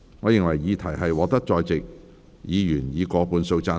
我認為議題獲得在席議員以過半數贊成。